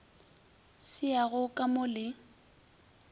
se yago ka mo le